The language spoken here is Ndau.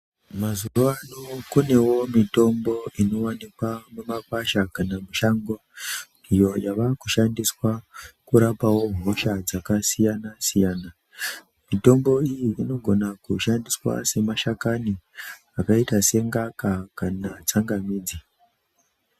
Mazuvano kunewo mitombo inowanikwa mumakwasha kana mushango iyo yavakushandiswa kurapawo hosha dzakasiyana-siyana. Mitombo iyi inogona kushandiswa semasakani akaita sengaka kana tsangamidzi.